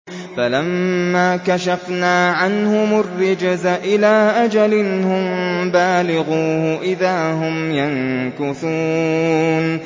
فَلَمَّا كَشَفْنَا عَنْهُمُ الرِّجْزَ إِلَىٰ أَجَلٍ هُم بَالِغُوهُ إِذَا هُمْ يَنكُثُونَ